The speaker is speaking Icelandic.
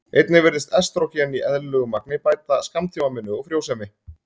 einnig virðist estrógen í eðlilegu magni bæta skammtímaminni og frjósemi